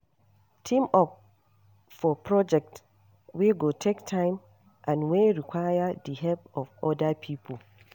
Team up for project wey go take time and wey require di help of oda pipo